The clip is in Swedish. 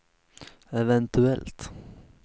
eventuellt